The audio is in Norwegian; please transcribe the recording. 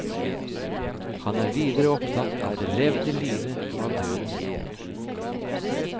Han er videre opptatt av det levde livet og av døden.